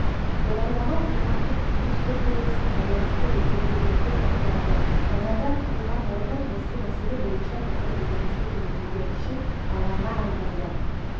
оралдағы қоғамдық кеңес жер кодексіне байланысты өзгертулерді талқылады жаңадан құрылған орган осы мәселе бойынша пікір білдіргісі келетіндер үшін алаңға айналды